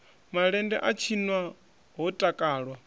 malende a tshinwa ho takalwa